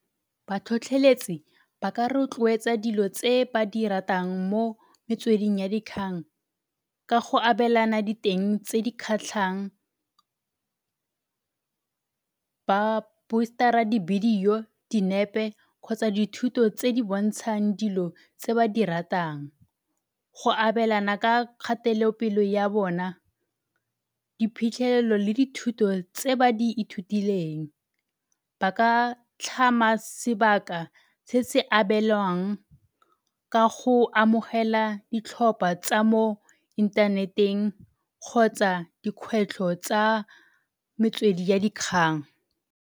Batlhotlheletsi ba ka rotloetsa dilo tse ba di ratang mo metsweding ya dikgang ka go abelana diteng tse di kgatlhang, ba poster-a dibidio, dinepe, kgotsa dithuto tse di bontshang dilo tse ba di ratang. Go abelana ka kgatelopele ya bona, diphitlhelelo le dithuto tse ba di ithutileng. Ba ka tlhama sebaka se se abelwang ka go amogela ditlhopha tsa mo inthaneteng kgotsa dikgwetlho tsa metswedi ya dikgang.